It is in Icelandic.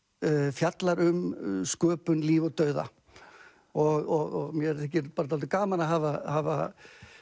fjallar um sköpun líf og dauða og mér þykir bara dálítið gaman að hafa hafa